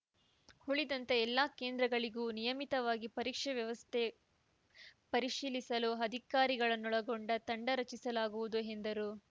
ಉಳಿದಂತೆ ಎಲ್ಲ ಕೇಂದ್ರಗಳಿಗೂ ನಿಯಮಿತವಾಗಿ ಪರೀಕ್ಷೆ ವ್ಯವಸ್ಥೆ ಪರಿಶೀಲಿಸಲು ಅಧಿಕಾರಿಗಳನ್ನೊಳಗೊಂಡ ತಂಡರಚಿಸಲಾಗುವುದು ಎಂದರು